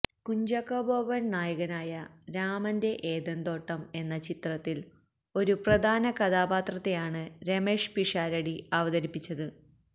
കുഞ്ചാക്കോ ബോബൻ നായകനായ രാമന്റെ ഏദൻതോട്ടം എന്ന ചിത്രത്തിൽ ഒരു പ്രധാന കഥാപാത്രത്തെയാണ് രമേഷ് പിഷാരടി അവതരിപ്പിച്ചത്